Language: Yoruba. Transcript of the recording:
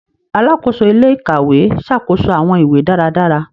Alàkóso ilé-íkàwe ṣàkóso awọn ìwé dáradára.